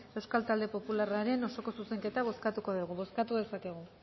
euskal talde popularraren osoko zuzenketa bozkatuko dugu bozkatu dezakegu